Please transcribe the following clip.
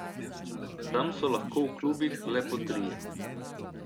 Tam so lahko v klubih le po trije.